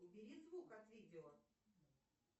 убери звук от видео